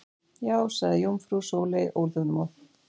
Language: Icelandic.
Já sagði jómfrú Sóley óþolinmóð.